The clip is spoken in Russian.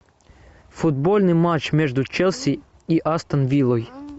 футбольный матч между челси и астон виллой